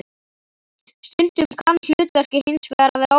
Stundum kann hlutverkið hins vegar að vera óþekkt.